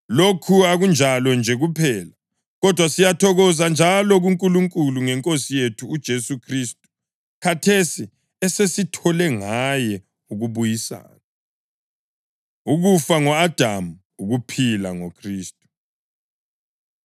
Lokhu akunjalo nje kuphela, kodwa siyathokoza njalo kuNkulunkulu ngeNkosi yethu uJesu Khristu, khathesi esesithole ngaye ukubuyisana. Ukufa Ngo-Adamu, Ukuphila NgoKhristu